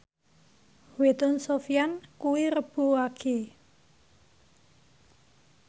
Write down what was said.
wetone Sofyan kuwi Rebo Wage